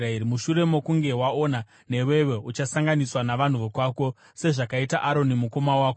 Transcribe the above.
Mushure mokunge waona, newewo uchasanganiswa navanhu vokwako, sezvakaita Aroni mukoma wako,